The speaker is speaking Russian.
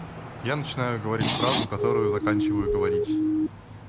я начинаю говорить фразу которую заканчиваю говорить